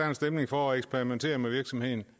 var stemning for at eksperimentere med virksomheden